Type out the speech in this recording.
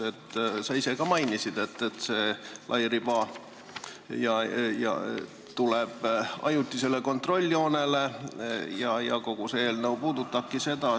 Sa ise ka mainisid, et see lairiba tuleb ajutisele kontrolljoonele ja kogu eelnõu seda puudutabki.